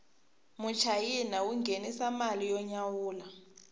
muchayina wu nghenisa mali yo nyawula